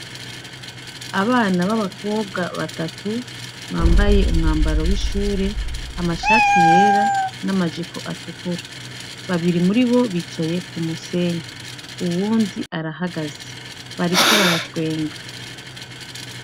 Abana b’abakobwa batatu , bambaye umwambaro w’ishuri, amashati yera n’amajipo atukura, babiri muribo bicaye kumusenyi, uwundi arahagaze, bariko baratwenga.